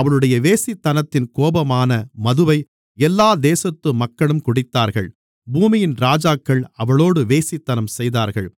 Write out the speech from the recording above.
அவளுடைய வேசித்தனத்தின் கோபமான மதுவை எல்லா தேசத்து மக்களும் குடித்தார்கள் பூமியின் ராஜாக்கள் அவளோடு வேசித்தனம் செய்தார்கள்